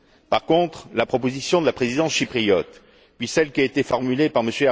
Par contre, la proposition de la Présidence chypriote puis celle qui a été formulée par M.